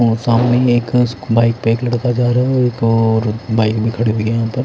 और सामने ही एक बाइक पे एक लड़का जा रहा है और बाइक भी खड़ी है यहाँ पर--